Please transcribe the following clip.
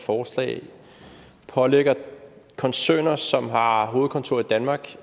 forslag pålægger koncerner som har hovedkontor i danmark